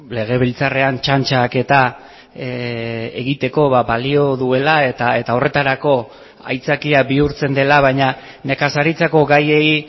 legebiltzarrean txantxak eta egiteko balio duela eta horretarako aitzakia bihurtzen dela baina nekazaritzako gaiei